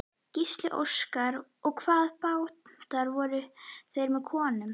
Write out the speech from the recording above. Gísli Óskarsson: Og hvaða bátar voru þetta sem komu?